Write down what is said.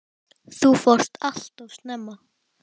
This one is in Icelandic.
Þú fórst allt of snemma.